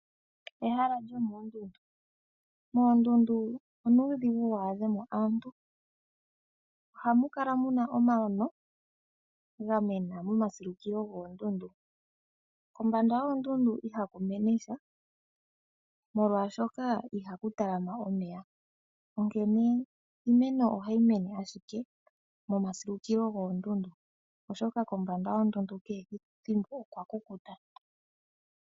Moondundu onuudhigu waadhemo aantu, ohamu kala muna omano gamena momasilukilo goondundu. Kombanda yoondundu ihaku mene sha molwaashoka ihaku talama omeya onkene iimeno ohayi mene momasilukilo goondundu molwaashoka kombanda yadho okwa kukuta.